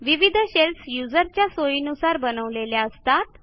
विविध शेल्स युजर्सच्या सोयीनुसार बनवलेल्या असतात